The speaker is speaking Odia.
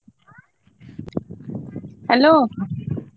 Hello।